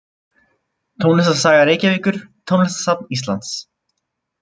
Tónlistarsaga Reykjavíkur Tónlistarsafn Íslands.